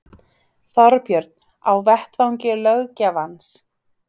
Þorbjörn: Á vettvangi löggjafans?